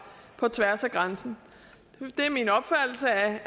på tværs af grænsen det er min opfattelse at